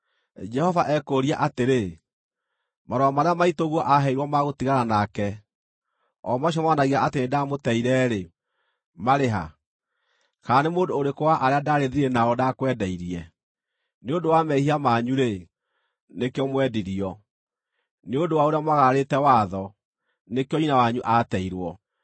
Jehova ekũũria atĩrĩ, “Marũa marĩa maitũguo aaheirwo ma gũtigana nake, o macio monanagia atĩ nĩndamũteire-rĩ, marĩ ha? Kana nĩ mũndũ ũrĩkũ wa arĩa ndaarĩ thiirĩ nao ndakwendeirie? Nĩ ũndũ wa mehia manyu-rĩ, nĩkĩo mwendirio; nĩ ũndũ wa ũrĩa mwagararĩte watho, nĩkĩo nyina wanyu aateirwo.